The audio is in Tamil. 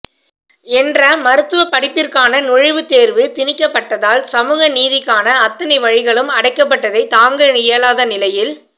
என்ற மருத்துவ படிப்பிற்கான நுழைவுத் தேர்வு திணிக்கப்பட்டதால் சமூக நீதிக்கான அத்தனை வழிகளும் அடைக்கப்பட்டதை தாங்க இயலாத நிலையில்